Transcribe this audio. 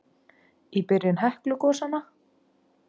Í byrjun Heklugosanna